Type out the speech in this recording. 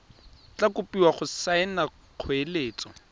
tla kopiwa go saena kgoeletso